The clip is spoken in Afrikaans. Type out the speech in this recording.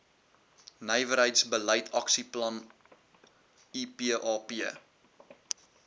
nywerheidsbeleid aksieplan ipap